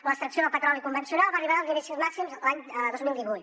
l’extracció del petroli convencional va arribar a nivells màxims l’any dos mil divuit